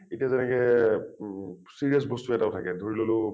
এতিয়া যেনেকৈ ও serious বস্তু এটাও থাকে ধৰি ললোঁ